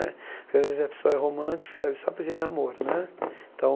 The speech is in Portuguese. Às vezes, a pessoa é romântica, escreve só poesia ele é amor né. Então